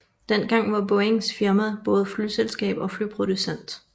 Dengang var Boeings firma både flyselskab og flyproducent